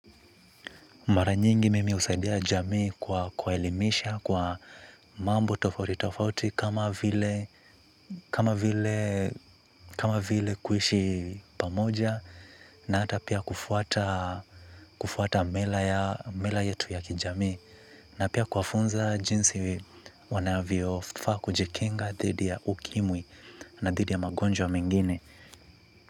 Mara nyingi mimi husaidia jamii kwa kuwaelimisha kwa mambo tofauti tofauti kama vile kama vile kuishi pamoja na hata pia kufuata kufuata mila yetu ya kijamii na pia kuwafunza jinsi wanavyofaa kujekinga dhidi ya ukimwi na dhidi ya magonjwa mengine.